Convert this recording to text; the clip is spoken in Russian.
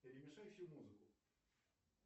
перемешай всю музыку